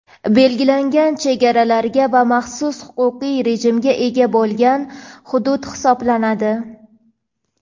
belgilangan chegaralarga va maxsus huquqiy rejimga ega bo‘lgan hudud hisoblanadi.